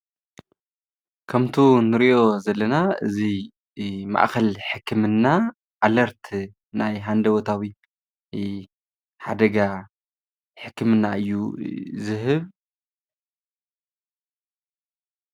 ከምቱ ንሪኦ ዘለና እዚ ማእከል ሕክምና ኣለርት ናይ ሃንደበታዊ ሓደጋ ሕክምና እዩ ዝህብ::